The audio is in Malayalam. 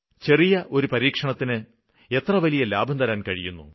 ചെറിയ ഒരു പരീക്ഷണത്തിന് എത്ര വലിയ ലാഭം തരാന് കഴിയുന്നു